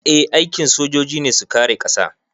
Eh aikin sojoji ne su kare ƙasa